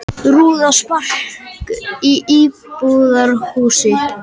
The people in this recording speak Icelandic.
Rúða sprakk í íbúðarhúsi